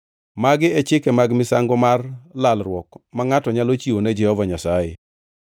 Magi e chike mag misango mar lalruok ma ngʼato nyalo chiwo ne Jehova Nyasaye.